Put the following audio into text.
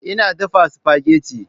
Ina dafa spaghetti